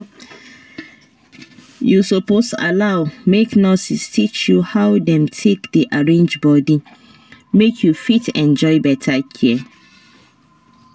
you suppose allow make nurses teach you how dem take dey arrange body make you fit enjoy better care